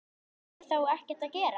Fá þeir þá ekkert að gera?